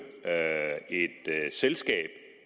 et selskab